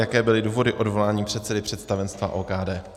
Jaké byly důvody odvolání předsedy představenstva OKD?